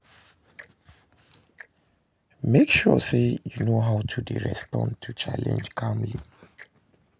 mek sure sey you know how to respond to challenge calmly.